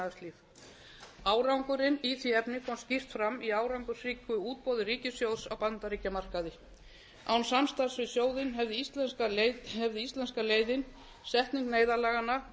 efnahagslíf árangurinn í því efni kom skýrt fram í árangursríku útboði ríkissjóðs á bandaríkjamarkaði án samstarfs við sjóðinn hefði íslenska leiðin setning neyðarlaganna